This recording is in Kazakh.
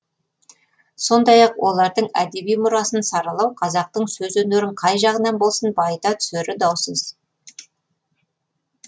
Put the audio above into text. сондай ақ олардың әдеби мұрасын саралау қазақтың сөз өнерін қай жағынан болсын байыта түсері даусыз